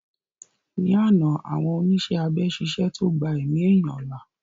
Ní àná àwọn oníṣẹ́ abẹ ṣiṣẹ́ tó gbà èmi ẹ̀yán là